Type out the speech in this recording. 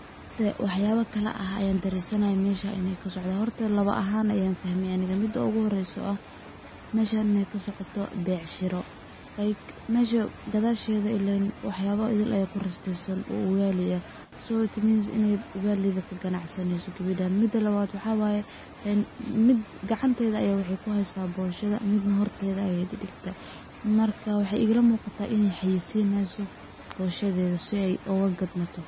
Waxyabe kale ah ayan darensanaxay meshan iney kasocdan horta labo axan ayan ufaxmey aniga midi oguhoreyso oo ah meshan iney kasocoto becsharo like mesha gadashetha ilen wax yabo idil aya kurastesan oo [cs ugali ah so it means iney ugali kaganacseneyso gebedan midi labbad waxa waye mid gacanteda aye kuxeysa boshatha midna hortetha aye digtey marka mexey ila muqata iney xaysineso boshatetha si ey ogagadmato.